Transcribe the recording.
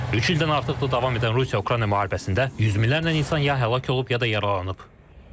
Üç ildən artıqdır davam edən Rusiya-Ukrayna müharibəsində 100 mindən artıq insan ya həlak olub, ya da yaralanıb.